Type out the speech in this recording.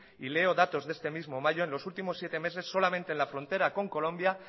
y leo datos de este mismo mayo en los últimos siete meses solamente en la frontera con colombia